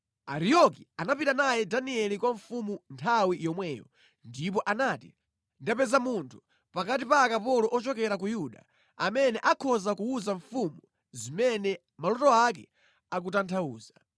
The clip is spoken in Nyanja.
Ariyoki anapita naye Danieli kwa mfumu nthawi yomweyo ndipo anati, “Ndapeza munthu pakati pa akapolo ochokera ku Yuda amene akhoza kuwuza mfumu zimene maloto ake akutanthauza.”